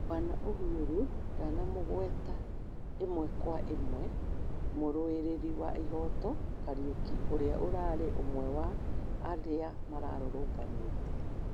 Bwana Uhuru ndanamũgweta ĩmwe kwa ĩmwe muruĩrĩri wa ihoto Kariuki ũria ũrarĩ ũmwe wa arĩa mararũrũnganĩte